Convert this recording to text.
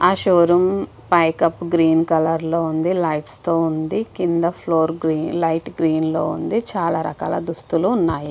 హ showroom పై కప్ గ్రీన్ కలర్ లొ ఉందిలైట్స్ తో ఉంది కింద ఫ్లోర్ లైట్ గ్రీన్ కలర్ లో ఉంది. చాల రకాల దుస్తులు ఉన్నాయి .